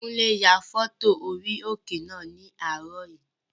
Kúnlé ya fọ́tò orí òkè náà ní àárọ̀ yìí